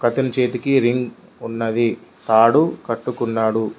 అతని చేతికి రింగ్ ఉన్నది తాడు కట్టుకున్నాడు.